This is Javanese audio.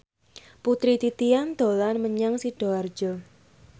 Putri Titian dolan menyang Sidoarjo